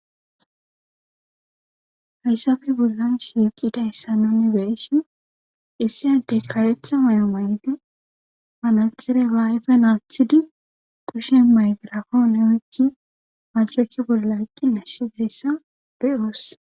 hayssafe bobollan shiiqidayssauni beishin issiyaddey karetha may7o may7ide manaxire laayfe naasthidi qushen maygrafoone oykki madarake bollaa yqqi nashizayssa beyooss